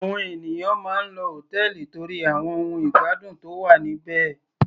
Àwọn ènìyàn máa ń lọ hòtẹ́ẹ̀lì torí àwọn ohun ìgbádùn tó wà níbẹ̀.